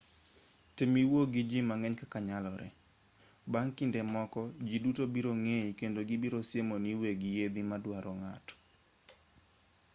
tem iwuo gi ji mang'eny kaka nyalore bang' kinde moko ji duto biro ng'ei kendo gibiro siemoni weg yiedhi ma duaro ng'ato